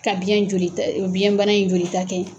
Ka biyɛn jolita biyɛn bana in joli ta kɛ